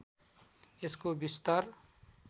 यसको विस्तार